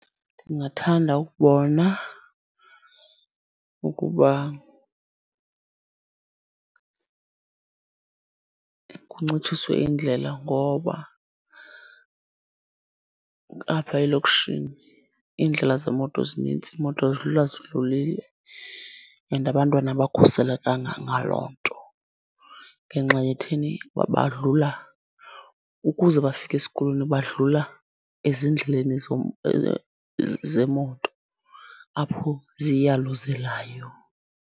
Ndingathanda ukubona ukuba kuncitshiswe indlela ngoba apha elokishini iindlela zemoto zinintsi, iimoto zidlula zidlulile and abantwana abakhuselekanga ngaloo nto. Ngenxa yethini badlula, ukuze bafike esikolweni badlula ezindleleni zemoto apho ziyaluzelayo.